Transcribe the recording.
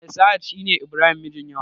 Mai sahad shine ibrahim mijin yawa